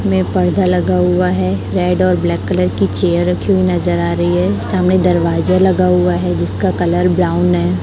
में पर्दा लगा हुआ है रेड और ब्लैक कलर की चेयर रखी हुई नजर आ रही है सामने दरवाजा लगा हुआ है जिसका कलर ब्राउन है।